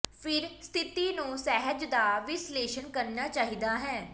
ਫਿਰ ਸਥਿਤੀ ਨੂੰ ਸਹਿਜ ਦਾ ਵਿਸ਼ਲੇਸ਼ਣ ਕਰਨਾ ਚਾਹੀਦਾ ਹੈ